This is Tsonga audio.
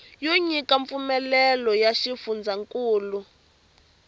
yo nyika mpfumelelo ya xifundzankulu